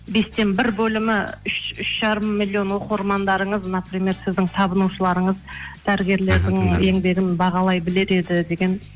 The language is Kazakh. бестен бір бөлімі үш жарым миллион оқырмандарыңыз например сіздің табынушыларыңыз дәрігерлердің еңбегін бағалай білер еді деген